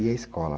E a escola?